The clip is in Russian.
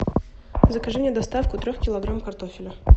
закажи мне доставку трех килограмм картофеля